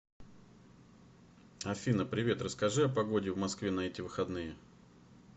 афина привет расскажи о погоде в москве на эти выходные